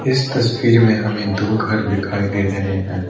इस तस्वीर में हमें दो घर दिखाई दे रहे हैं।